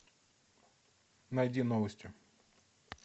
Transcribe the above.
найди новости